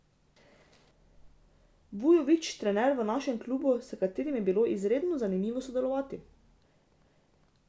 Vujović trener v našem klubu, s katerim je bilo izredno zanimivo sodelovati.